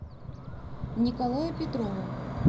николая петрова